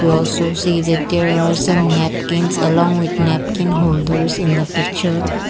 we also see that there are some napkins along with napkins whole those in the picture.